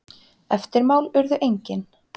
Eftirmál urðu engin.